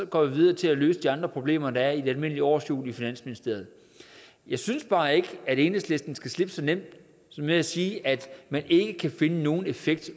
går vi videre til at løse de andre problemer der er i det almindelige årshjul i finansministeriet jeg synes bare ikke at enhedslisten skal slippe så nemt med at sige at man ikke kan finde nogen effekt